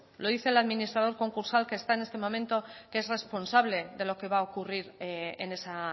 lo dice el administrador concursal que está en este momento que es responsable de lo que va a ocurrir en esa